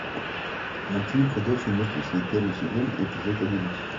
мультфильм ходячие мертвецы первый сезон эпизод одиннадцать